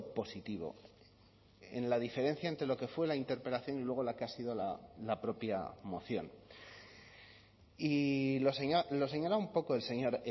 positivo en la diferencia entre lo que fue la interpelación y luego la que ha sido la propia moción y lo señala un poco el señor